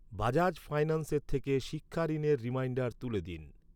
বাজাজ ফাইন্যান্সের থেকে শিক্ষা ঋণের রিমাইন্ডার তুলে দিন।